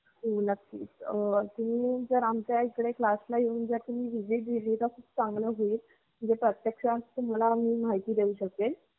साताऱ्या मध्ये खूप अश्या Academy येत पन सगळ्या Academy मध्ये ये ना आमची Academy पूर्ण चालायची दीडशेच्या वर पट असायचा.